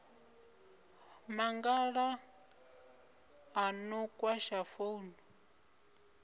mangala a no kwasha founu